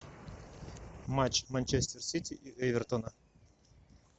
матч манчестер сити и эвертона